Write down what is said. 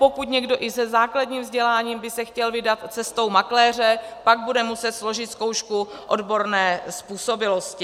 Pokud někdo i se základním vzděláním by se chtěl vydat cestou makléře, pak bude muset složit zkoušku odborné způsobilosti.